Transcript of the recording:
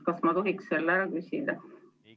Kas ma tohiks selle ära küsida?